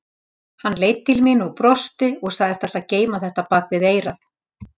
Hann leit til mín og brosti, sagðist ætla að geyma þetta bak við eyrað.